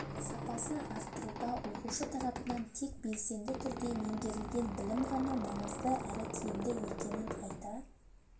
сапасын арттыруда оқушы тарапынан тек белсенді түрде меңгерілген білім ғана маңызды әрі тиімді екенін айта